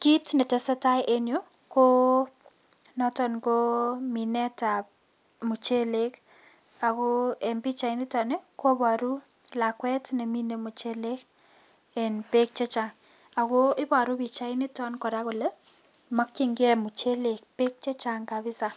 Kit netesee taa en yu konoton koo minetab muchelek ako en pichainiton ii koboru lakwet nemine muchelek en beek chechang ako iboru pichainiton kole mokchingee muchelek beek chechang kabisa